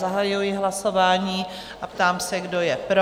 Zahajuji hlasování a ptám se, kdo je pro?